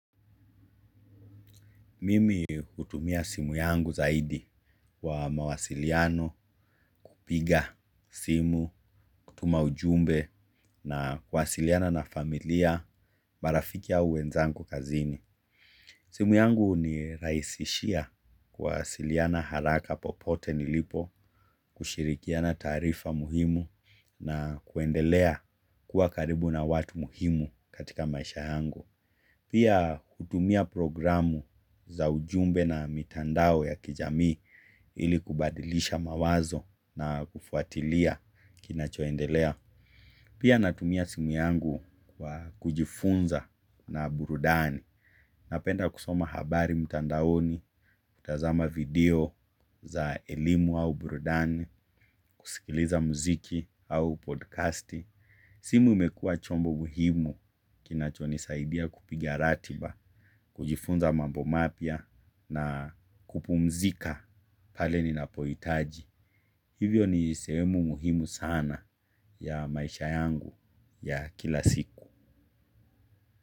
Mimi hutumia simu yangu zaidi kwa mawasiliano, kupiga simu, kutuma ujumbe na kuwasiliana na familia, marafiki au wenzangu kazini. Simu yangu hunirahisishia kuwasiliana haraka popote nilipo, kushirikiana taarifa muhimu na kuendelea kuwa karibu na watu muhimu katika maisha yangu. Pia kutumia programu za ujumbe na mitandao ya kijami ili kubadilisha mawazo na kufuatilia kinachoendelea. Pia natumia simu yangu kwa kujifunza na burudani. Napenda kusoma habari mtandaoni, kutazama video za elimu au burudani, kusikiliza mziki au podcast. Simu imekuwa chombo muhimu kinacho nisaidia kupigia ratiba, kujifunza mambo mapya na kupumzika pale ninapohitaji. Hivyo ni sehemu muhimu sana ya maisha yangu ya kila siku.